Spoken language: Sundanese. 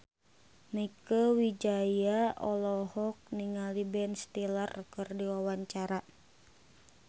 Mieke Wijaya olohok ningali Ben Stiller keur diwawancara